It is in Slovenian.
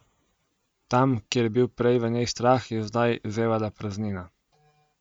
Tam, kjer je bil prej v njej strah, je zdaj zevala praznina.